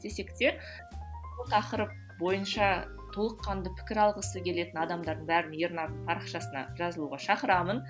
десек те бұл тақырып бойынша толыққанды пікір алғысы келетін адамдардың бәрін ернардың парақшасына жазылуға шакырамын